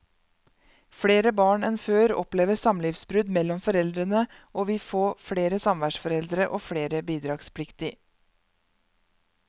Flere barn enn før opplever samlivsbrudd mellom foreldrene og vi få flere samværsforeldre og flere bidragspliktig.